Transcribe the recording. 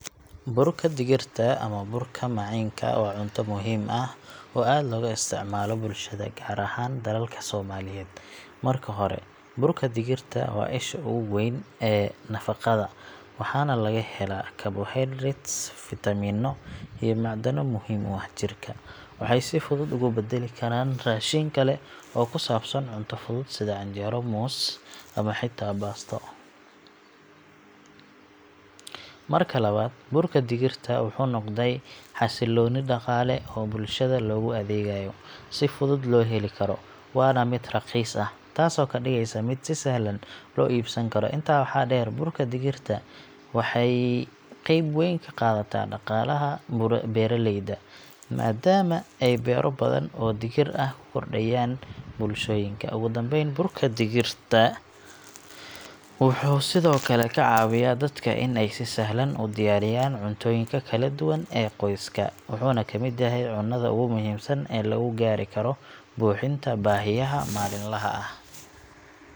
Burka digirta ama burka maciinka, waa cunto muhiim ah oo aad looga isticmaalo bulshada, gaar ahaan dalalka Soomaaliyeed. Marka hore, burka digirta waa isha ugu weyn ee nafaqada, waxaana laga helaa carbohydrates, fiitamiino iyo macdano muhiim u ah jirka. Waxay si fudud ugu beddeli kartaa raashin kale oo ku saabsan cunto fudud, sida canjeero, muus, ama xitaa baasto. Marka labaad, burka digirta wuxuu noqday xasilooni dhaqaale oo bulshada loogu adeegayo. Si fudud loo heli karo, waana mid raqiis ah, taasoo ka dhigaysa mid si sahlan loo iibsan karo. Intaa waxaa dheer, burka digirta waxay qayb weyn ka qaadataa dhaqaalaha beeralayda, maadaama ay beero badan oo digir ah ka korodhayaan bulshooyinka. Ugu dambeyn, burka digirta wuxuu sidoo kale ka caawiyaa dadka in ay si sahlan u diyaariyaan cuntooyinka kala duwan ee qoyska, wuxuuna ka mid yahay cunnada ugu muhiimsan ee lagu gaari karo buuxinta baahiyaha maalinlaha ah.